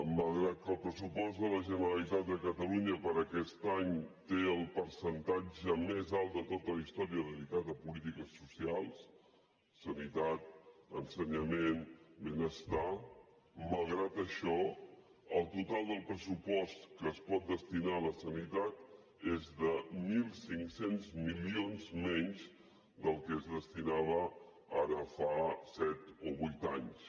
malgrat que el pressupost de la generalitat de catalunya per a aquest any té el percentatge més alt de tota la història dedicat a polítiques socials sanitat ensenyament benestar malgrat això el total del pressupost que es pot destinar a la sanitat és de mil cinc cents milions menys del que es destinava ara fa set o vuit anys